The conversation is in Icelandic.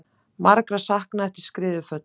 Margra saknað eftir skriðuföll